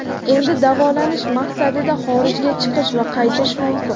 endi davolanish maqsadida xorijga chiqish va qaytish mumkin.